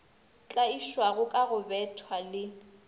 tlaišwago ka go bethwa le